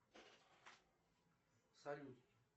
салют